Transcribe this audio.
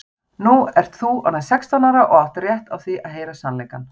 Nú ert þú orðin sextán ára og átt rétt á því að heyra sannleikann.